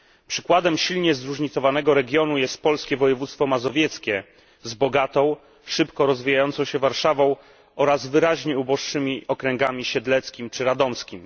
Przykładem silnie zróżnicowanego regionu jest polskie województwo mazowieckie z bogatą, szybko rozwijającą się Warszawą oraz wyraźnie uboższymi okręgami Siedleckim, czy Radomskim.